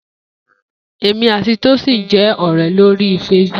Emi ati Tosin je ore lori Facebook.